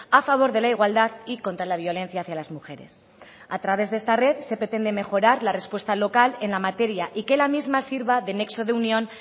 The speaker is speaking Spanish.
a favor de la igualdad y contra la violencia hacia las mujeres a través de esta red se pretende mejorar la respuesta local en la materia y que la misma sirva de nexo de unión